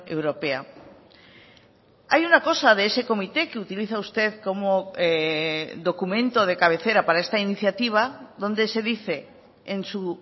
europea hay una cosa de ese comité que utiliza usted como documento de cabecera para esta iniciativa donde se dice en su